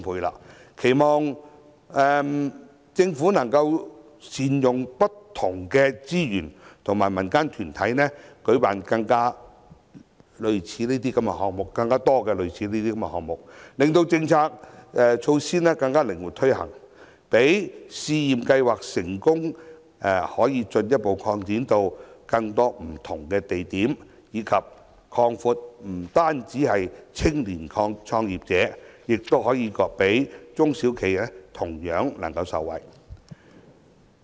我期望特區政府能夠善用不同的資源和民間團體舉辦更多類似項目，令政策措施更靈活推行，使試驗計劃可進一步擴展至更多不同的地點，以及擴大受惠對象，不單是青年創業者，中小企也同樣受惠。